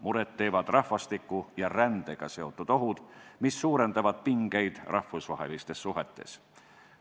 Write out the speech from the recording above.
Muret teevad rahvastiku ja rändega seotud ohud, mis suurendavad pingeid rahvusvahelistes suhetes.